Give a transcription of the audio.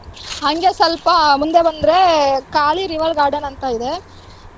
ಹಂಗೆ ಸ್ವಲ್ಪ ಮುಂದೆ ಬಂದ್ರೆ ಖಾಲಿ river garden ಅಂತಾ ಇದೆ.